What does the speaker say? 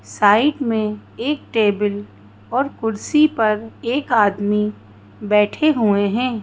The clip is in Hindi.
साइड मे एक टेबल और कुर्सी पर एक आदमी बैठे हुए है।